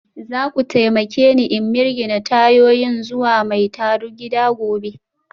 Za ku taimake ni in mirgine tayoyin zuwa mai tarugida gobe?